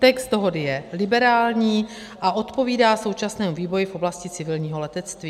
Text dohody je liberální a odpovídá současnému vývoji v oblasti civilního letectví.